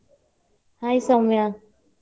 Hai Soumya.